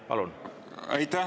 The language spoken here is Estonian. Palun!